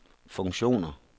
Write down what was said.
funktioner